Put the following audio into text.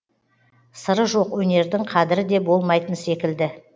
сыры жоқ өнердің қадірі де болмайтын секілді